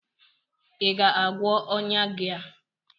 ị ga-agwọ ọnya gị a?